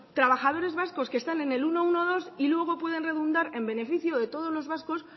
trabajadores vascos que están en el ciento doce y luego pueden redundar en beneficio de todos los vascos